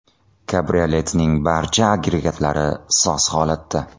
Kabrioletning barcha agregatlari soz holatda.